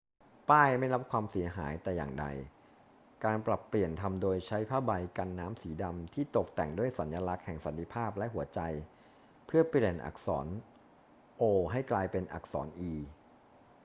ป้ายไม่ได้รับความเสียหายแต่อย่างใด การปรับเปลี่ยนทำโดยใช้ผ้าใบกันน้ำสีดำที่ตกแต่งด้วยสัญลักษณ์แห่งสันติภาพและหัวใจเพื่อเปลี่ยนอักษร o ให้กลายเป็นอักษร e